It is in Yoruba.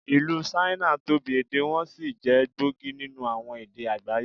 Ìlú Ṣáínà tóbi, èdè wọn sì jẹ́ gbòógì nínú àwọn èdè àgbáyé.